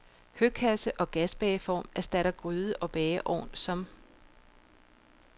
Høkasse og gasbageform erstattede gryde og bageovn som